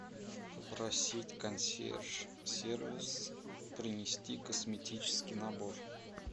попросить консьерж сервис принести косметический набор